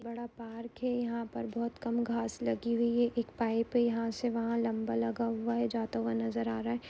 बोहोत बड़ा पार्क है यहाँ पर बोहोत कम घास लागी हुई है | एक पाइप यहाँ से वहाँ लंबा लगा हुआ है जाता हुआ नजर आ रहा है।